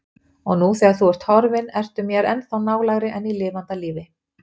Og nú þegar þú ert horfin ertu mér ennþá nálægari en í lifanda lífi.